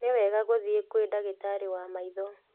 Nĩ wega gũthiĩ kwĩ ndagĩtarĩ wa maitho